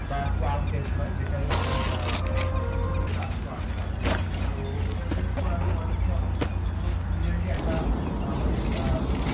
বা হয় যেটাই আপনার অ্যাঁ আপনার পছন্দ ওটাই আপনি করাতে পারেন তো ওটা করানোর পরে কি হবে কি পুরো একটা আমাদের অ্যাঁ